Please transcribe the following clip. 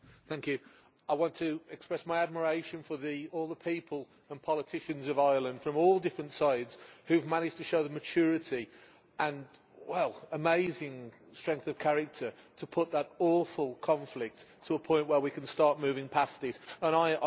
Madam President, I want to express my admiration for all the people and politicians of Ireland, from all different sides, who have managed to show the maturity and amazing strength of character to bring that awful conflict to a point where we can start moving past it.